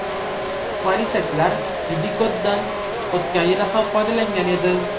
Politsiyachilar Didigod’dan o‘tgan yili ham foydalangan edi.